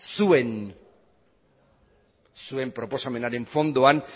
zuen proposamenaren fondoan